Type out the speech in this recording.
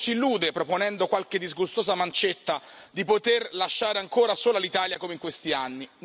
Qualcuno si illude, proponendo qualche disgustosa mancetta, di poter lasciare ancora sola l'Italia come in questi anni.